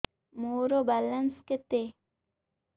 ମୋର ବାଲାନ୍ସ କେତେ